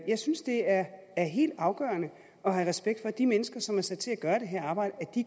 jeg synes det er er helt afgørende at have respekt for at de mennesker som er sat til at gøre det her